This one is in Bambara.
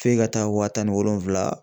F'e ka taa wa tan ni wolonfula